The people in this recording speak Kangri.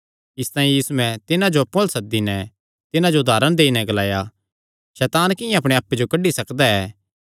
इसतांई यीशुयैं तिन्हां जो अप्पु अल्ल सद्दी नैं तिन्हां जो उदारण देई नैं ग्लाणा लग्गा सैतान किंआं अपणे आप्पे जो कड्डी सकदा ऐ